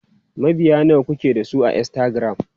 Mabiya nawa kuke da su a Instagram?